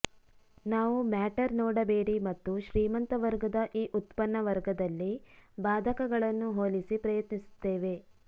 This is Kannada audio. ನಾವು ಮ್ಯಾಟರ್ ನೋಡಬೇಡಿ ಮತ್ತು ಶ್ರೀಮಂತ ವರ್ಗದ ಈ ಉತ್ಪನ್ನ ವರ್ಗದಲ್ಲಿ ಬಾಧಕಗಳನ್ನು ಹೋಲಿಸಿ ಪ್ರಯತ್ನಿಸುತ್ತೇವೆ